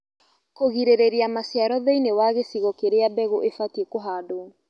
Kũgirĩrĩria maciaro thĩinĩ wa gĩcigo kĩrĩa mbegũ ibatie kũhandwo